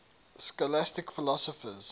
scholastic philosophers